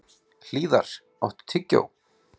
Hlíðar, áttu tyggjó?